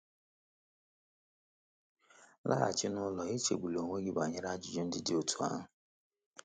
“Laghachi n’ụlọ, echegbula onwe gị banyere ajụjụ ndị dị otú ahụ!”